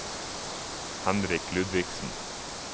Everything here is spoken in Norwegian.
Henrik Ludvigsen